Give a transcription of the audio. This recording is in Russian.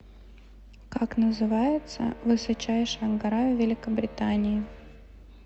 как называется высочайшая гора в великобритании